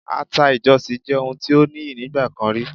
Àta ìjọ̀sì jẹ́ ohun tí ó níyì nígbà kan rí.